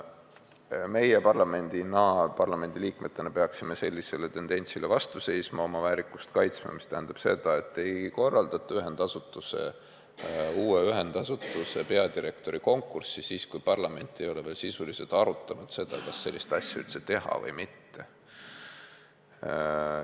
Meie parlamendina, parlamendiliikmetena peaksime sellisele tendentsile vastu seisma, oma väärikust kaitsma, mis tähendab seda, et ei korraldata uue ühendasutuse peadirektori konkurssi juba siis, kui parlament ei ole veel sisuliselt arutanud, kas sellist asutust üldse teha või mitte.